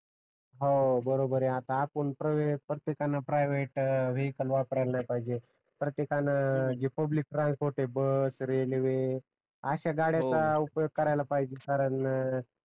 हव बरोबर यह आता आपण प्रतटेकान प्रायवेट वेहिकल वापरायला नाही पाहिजे प्रयत्तेकान जे पब्लिक ट्रान्सफोर्ट आहे जे बस रेल्वे आशा गळ्याचा उपयोग करायला पहजे कारण